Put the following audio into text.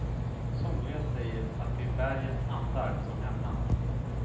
Somliga säger att det är bergens andar som hämnas.